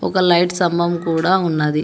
ఒక లైట్ స్తంభం కూడా ఉన్నది.